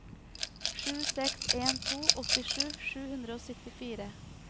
sju seks en to åttisju sju hundre og syttifire